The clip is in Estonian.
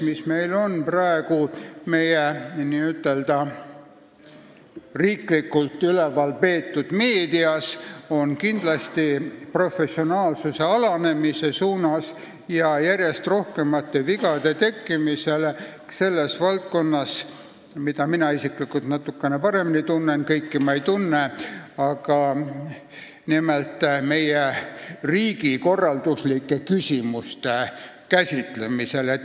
... mis on praegu meie n-ö riiklikult üleval peetavas meedias, on kindlasti professionaalsuse alanemise suunas ja järjest rohkem vigu tekib selles valdkonnas, mida mina isiklikult natukene paremini tunnen , nimelt riigikorralduslike küsimuste käsitlemisel.